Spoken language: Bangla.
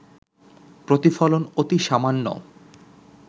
প্রতিফলন অতি সামান্য